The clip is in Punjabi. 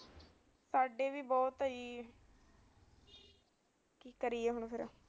ਸਾਡੇ ਵੀ ਬਹੁਤ ਐ ਜੀ ਕੀ ਕਰੀਏ ਹਨ